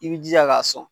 I b'i jija k'a sɔn